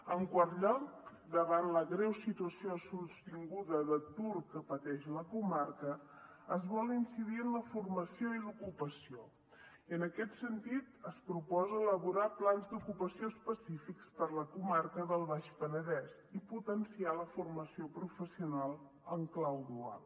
en quart lloc davant la greu situació sostinguda d’atur que pateix la comarca es vol incidir en la formació i l’ocupació i en aquest sentit es proposa elaborar plans d’ocupació específics per a la comarca del baix penedès i potenciar la formació professional en clau dual